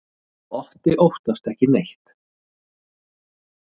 Otti óttast ekki neitt!